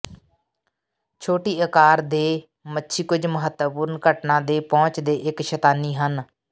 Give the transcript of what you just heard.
ਛੋਟੀ ਆਕਾਰ ਦੇ ਮੱਛੀ ਕੁਝ ਮਹੱਤਵਪੂਰਣ ਘਟਨਾ ਦੇ ਪਹੁੰਚ ਦੇ ਇੱਕ ਸ਼ਤਾਨੀ ਹਨ